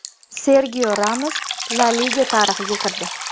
Serxio Ramos La Liga tarixiga kirdi.